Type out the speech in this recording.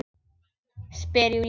Spyr Júlía.